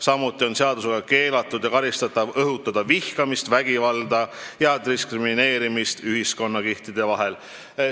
Samuti on seadusega keelatud ja karistatav õhutada vihkamist, vägivalda ja diskrimineerimist ühiskonnakihtide vahel.